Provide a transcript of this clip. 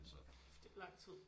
Kæft det er lang tid